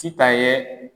Sitan ye